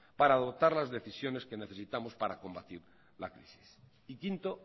para dotar las decisiones que necesitamos para combatir la crisis y quinto